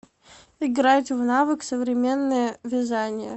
играть в навык современное вязание